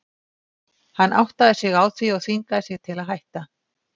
Hann áttaði sig á því og þvingaði sig til að hætta.